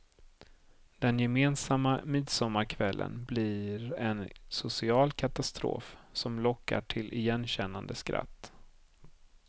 Den gemensamma midsommarkvällen blir en social katastrof som lockar till igenkännande skratt.